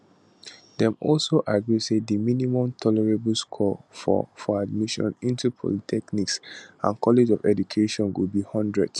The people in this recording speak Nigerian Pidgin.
dem also agree say di minimum tolerable score for for admission into polytechnics and colleges of education go be 100